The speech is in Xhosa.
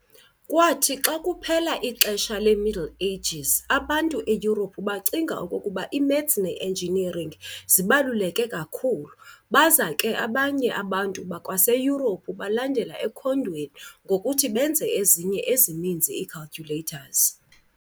Kwathi xa kuphela ixesha le-Middle Ages, abantu eYurophu bacinga okokuba i-math ne-engineering zibaluleke kakhulu. Baza ke abanye abantu bakwaseyurophu balandela ekhondweni ngokuthi benze ezinye ezininzi ii-calculators.